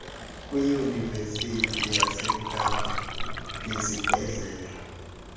kwiyunivesithi yasekapa nesibhedlele